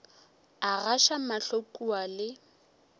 a gaša mahlo kua le